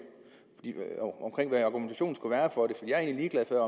argumentationen skulle være for at